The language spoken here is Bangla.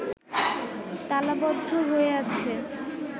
তালাবদ্ধ হয়ে আছে